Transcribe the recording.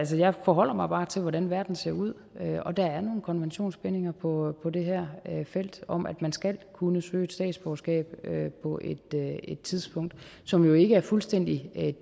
så jeg forholder mig bare til hvordan verden ser ud og der er nogle konventionsbindinger på det her felt om at man skal kunne søge statsborgerskab på et tidspunkt som jo ikke er fuldstændig